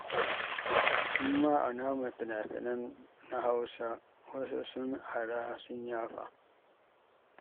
Mu ma a namu finafinan na Hausa wasu sun ara sun yafa.